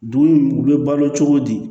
Dugu in u bɛ balo cogo di